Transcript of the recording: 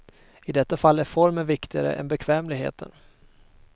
I detta fall är formen viktigare än bekvämligheten.